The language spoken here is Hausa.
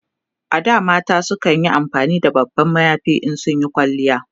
A da mata kanyi amfani da babban mayafi in sun Yi kwalliya